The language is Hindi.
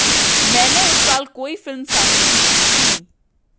मैंने उस साल कोई फिल्म साइन नहीं की थी